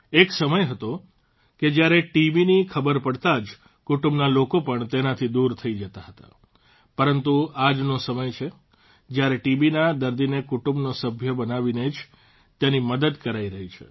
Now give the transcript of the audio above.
એક સમય હતો કે જયારે ટીબીની ખબર પડતાં જ કુટુંબના લોકો પણ તેનાથી દૂર થઇ જતા હતા પરંતુ આ આજનો સમય છે જયારે ટીબીના દર્દીને કુટુંબનો સભ્ય બનાવીને જ તેની મદદ કરાઇ રહી છે